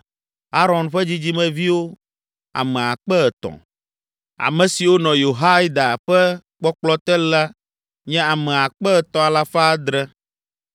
Aron ƒe dzidzimeviwo ame akpe etɔ̃. Ame siwo nɔ Yehoiada ƒe kpɔkplɔ te la nye ame akpe etɔ̃ alafa adre (3,700)